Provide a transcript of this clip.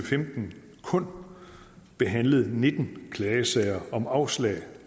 femten kun behandlet nitten klagesager om afslag